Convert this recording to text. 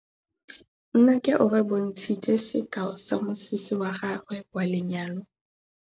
Nnake o re bontshitse sekaô sa mosese wa gagwe wa lenyalo.